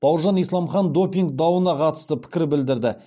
бауыржан исламхан допинг дауына қатысты пікір білдірді